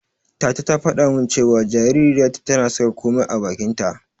Tata ta faɗa min cewa jaririyarta tana saka komai a bakinta.